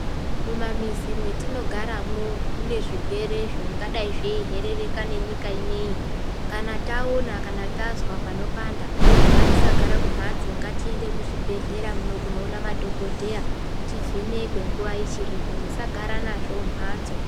Mumamizi mwetinogaramwo mune zvirwere zvingadai zveiherereka nenyika ineyi kana taona kana tazwa ngatisagara kumhatso ngatiende kuzvibhedhlera muno kunoona madhokodheya nguwa ichiripo musagara nazvo mumhatso.